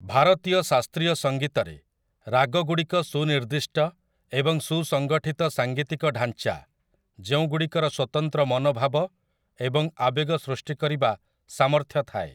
ଭାରତୀୟ ଶାସ୍ତ୍ରୀୟ ସଂଗୀତରେ, ରାଗଗୁଡ଼ିକ ସୁନିର୍ଦ୍ଦିଷ୍ଟ ଏବଂ ସୁସଂଗଠିତ ସାଙ୍ଗୀତିକ ଢାଞ୍ଚା, ଯେଉଁଗୁଡ଼ିକର ସ୍ୱତନ୍ତ୍ର ମନୋଭାବ ଏବଂ ଆବେଗ ସୃଷ୍ଟି କରିବା ସାମର୍ଥ୍ୟ ଥାଏ ।